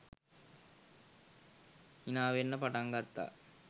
හිනාවෙන්න පටන් ගත්තා